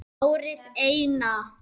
Árið Eina.